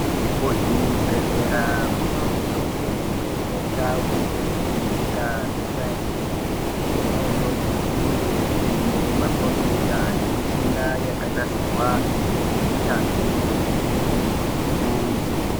Kuzvibhedhlera kunosise kunge kuine ndau yekuvheneka kwesainzi. Kona iyoyo, kunenge kuine makhombiyuta nemishina yakanasirwa ngeunyanzvi ukurutu.